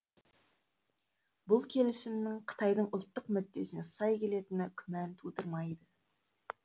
бұл келісімнің қытайдың ұлттық мүддесіне сай келетіні күмән тудырмайды